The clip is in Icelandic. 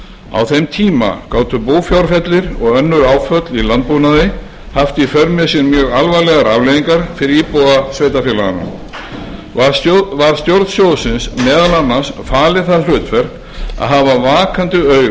á þeim tíma gátu búfjárfellir og önnur áföll í landbúnaði haft í för með sér mjög alvarlegar afleiðingar fyrir íbúa sveitarfélaganna var stjórn sjóðsins meðal annars falið það hlutverk að hafa vakandi auga